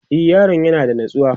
e Yaron yana da natsuwa